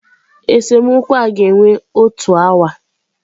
Esemokwu a ga-ewe otu awa.